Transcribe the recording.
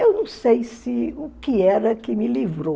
Eu não sei se o que era que me livrou.